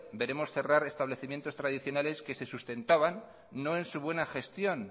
veremos cerrar establecimientos tradicionales que se sustentaban no en su buena gestión